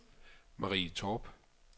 Marie Torp